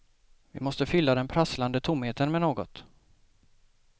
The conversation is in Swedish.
Vi måste fylla den prasslande tomheten med något.